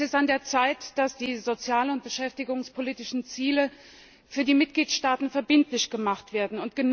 Es ist an der Zeit, dass die sozial und beschäftigungspolitischen Ziele für die Mitgliedstaaten verbindlich gemacht werden.